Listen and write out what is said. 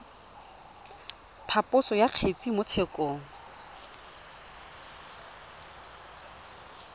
phaposo ya kgetse mo tshekong